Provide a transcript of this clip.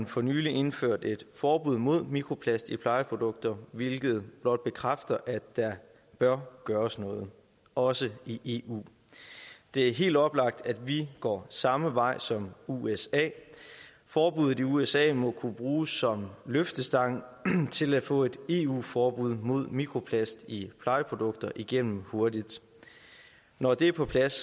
for nylig indført et forbud mod mikroplast i plejeprodukter hvilket blot bekræfter at der bør gøres noget også i eu det er helt oplagt at vi går samme vej som usa forbuddet i usa må kunne bruges som løftestang til at få et eu forbud mod mikroplast i plejeprodukter igennem hurtigt når det er på plads